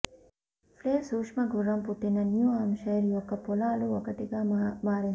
place సూక్ష్మ గుర్రం పుట్టిన న్యూ హాంప్షైర్ యొక్క పొలాలు ఒకటిగా మారింది